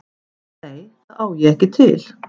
Nei, það á ég ekki til.